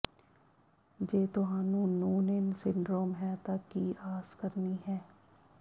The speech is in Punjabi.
ਜੇ ਤੁਹਾਨੂੰ ਨੂਨੇਨ ਸਿੰਡਰੋਮ ਹੈ ਤਾਂ ਕੀ ਆਸ ਕਰਨੀ ਹੈ